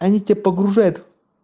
они тебя погружают